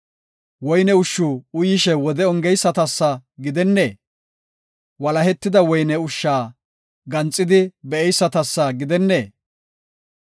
Woyne ushshu uyishe wode ongeysatasa gidennee? Walahetida woyne ushsha ganxidi be7eysatasa gidennee?